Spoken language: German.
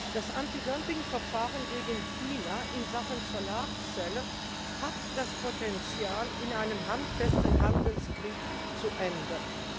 Das Antidumpingverfahren gegen China in Sachen Solarzellen hat das Potenzial, in einem handfesten Handelskrieg zu enden.